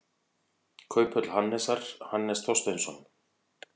Kauphöll Hannesar, Hannes Þorsteinsson.